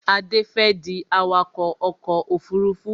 Adé fẹ́ di awakọ̀ ọkọ̀ òfurufú